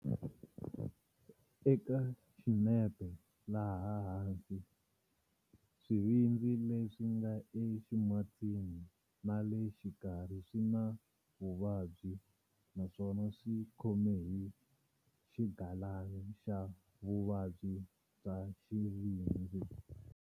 Eka xinepe laha hansi, swivindzi leswi nga e ximatsini na le xikarhi swi na vuvabyi naswona a swi khome hi xigalana xa vuvabyi bya xivindzi.